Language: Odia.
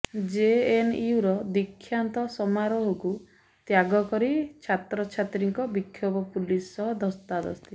ଜେଏନୟୁର ଦୀକ୍ଷାନ୍ତ ସମାରୋହକୁ ତ୍ୟାଗ କରି ଛାତ୍ରଛାତ୍ରୀଙ୍କ ବିକ୍ଷୋଭ ପୁଲିସ ସହ ଧସ୍ତାଧସ୍ତି